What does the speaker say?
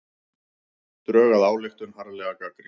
Drög að ályktun harðlega gagnrýnd